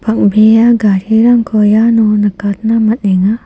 bang·bea garirangko iano nikatna man·enga.